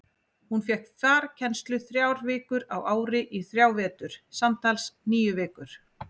Hún fékk farkennslu þrjár vikur á ári í þrjá vetur, samtals níu vikur.